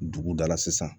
Dugu dala sisan